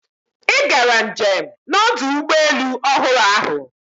Ị gara njem na ọdụ ụgbọ elu ọhụrụ ahụ